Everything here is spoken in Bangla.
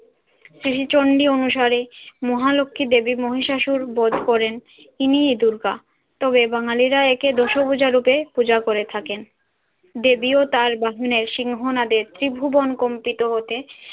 শ্রী চন্ডী অনুসারী মহালক্ষী দেবী মহিষাসুর বধ করেন তিনিই দুর্গা। তবে বাঙালিরা একে দশভুজা রূপে পূজা করে থাকেন। দেবী ও তার বাহনের সিংহ নাদের ত্রিভুবন কম্পিত হতে